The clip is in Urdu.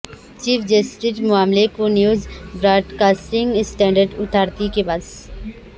چیف جسٹس معاملے کو news broadcasting standards authority کے پاس